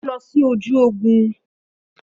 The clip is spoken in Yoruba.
Ó lọ sí ojú ogun